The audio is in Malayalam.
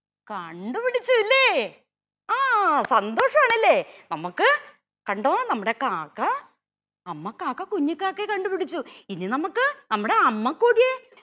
കണ്ടുപിടിച്ചുലേ ആ സന്തോഷാണല്ലേ നമുക്ക് കണ്ടോ നമ്മുടെ കാക്ക അമ്മ കാക്ക കുഞ്ഞിക്കാക്കയെ കണ്ടുപിടിച്ചു ഇനി നമുക്ക് നമ്മുടെ അമ്മക്കോഴിയെ